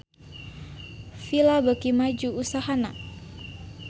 Fila beuki maju usahana